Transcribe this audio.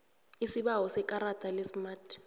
isibawo sekarada lesmart